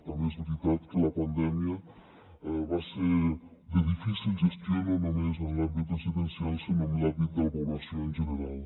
també és veritat que la pandèmia va ser de difícil gestió no només en l’àmbit residencial sinó en l’àmbit de la població en general